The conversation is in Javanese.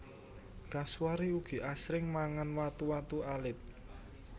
Kasuari ugi asring mangan watu watu alit